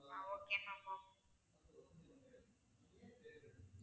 ah okay ma'am ok